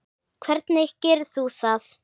Hvernig gerir þú það?